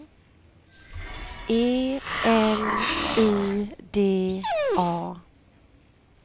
E L I D A